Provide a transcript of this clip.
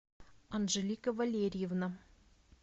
анжелика валерьевна